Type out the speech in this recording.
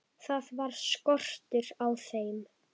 Það var skortur á þeim.